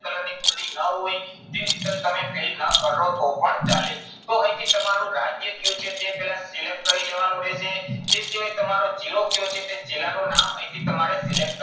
ફૂંદરી ન હોય તે detail તમે fill ના કરો તો પણ ચાલે. તો અહીંથી તમારું રાજ્ય શું છે તે પહેલા select કરી લેવાનું રહેશે. તે સિવાય તમારો જિલ્લો કયો છે તે જિલ્લાનું નામ અહીંથી તમારે select કરવાનું.